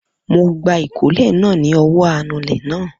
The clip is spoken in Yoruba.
Mo gba ìkólẹ̀ náà ni ọwọ́ anulẹ̀ náà